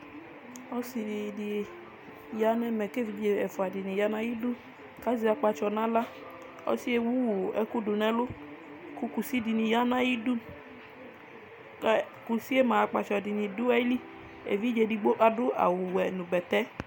ɔsii ni di yanʋ ɛmɛ kʋ ɛvidzɛ ɛƒʋa dini yanʋ ayidʋ kʋ azɛ akpatsɔ nʋ ala, ɔsiiɛ ɛwʋ ɛkʋ dʋnʋ ɛlʋ kʋ kʋsi dini yanʋ ayidʋ kʋ kʋsiɛ mʋa akpatsɔ dʋ ayili, ɛvidzɛ ɛdigbɔ adʋ awʋ wɛ bɛtɛ